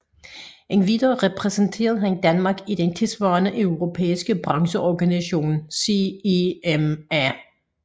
Endvidere repræsenterede han Danmark i den tilsvarende europæiske brancheorganisation CEMA